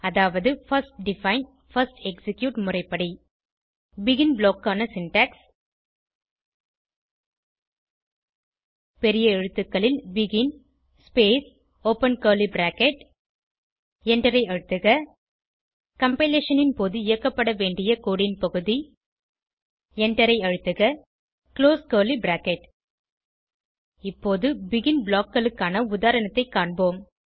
அதாவது first define first execute முறைப்படி begin block க்கான சின்டாக்ஸ் பெரிய எழுத்துக்களில் begin space open curly bracket எண்டரை அழுத்துக கம்பைலேஷன் ன் போது இயக்கப்பட வேண்டிய கோடு ன் பகுதி எண்டரை அழுத்துக குளோஸ் கர்லி பிராக்கெட் இப்போது பெகின் blockக்களுக்கான உதாரணத்தைக் காண்போம்